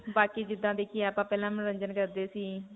ਬਾਕੀ ਜਿੱਦਾਂ ਦੇਖਿਏ ਆਪਾਂ ਪਹਿਲਾਂ ਮਨੋਰੰਜਨ ਕਰਦੇ ਸੀ.